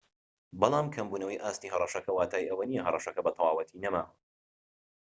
بەڵام کەمبونەوەی ئاستی هەڕەشەکە واتای ئەوەنیە هەڕەشەکە بەتەواوەتی نەماوە